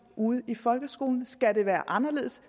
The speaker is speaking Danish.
ude i folkeskolen skal det være anderledes